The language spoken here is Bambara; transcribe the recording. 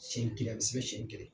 Sɛn kelen sɛn kelen.